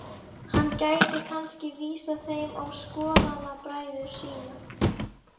Hann gæti kannski vísað þeim á skoðanabræður sína.